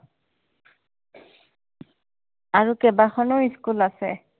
আৰু কেইবাখনো school আছে